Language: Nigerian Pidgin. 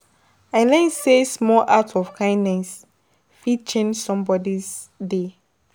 I learn sey small act of kindness, fit change somebodi day.